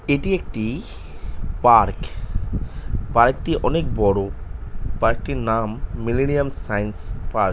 এটি একটি পার্ক পার্ক - টি অনেক বড়ো পার্ক - টির নাম মিলেনিয়াম সাইন্স পার্ক --